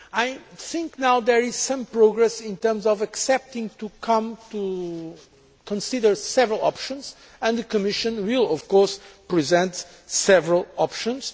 I think that there is now some progress in terms of accepting the idea of considering several options, and the Commission will, of course, present several options.